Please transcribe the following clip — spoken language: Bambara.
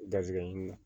Garisigɛ ɲini na